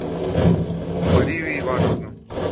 марию ивановну